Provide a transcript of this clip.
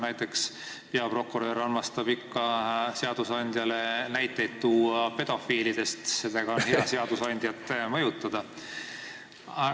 Näiteks peaprokurör armastab ikka seadusandjale näiteid tuua pedofiilidest, sellega on hea seadusandjat mõjutada.